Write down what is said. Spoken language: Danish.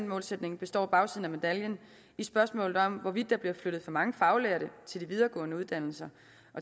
målsætning består bagsiden af medaljen i spørgsmålet om hvorvidt der bliver flyttet fra mange faglærte til videregående uddannelser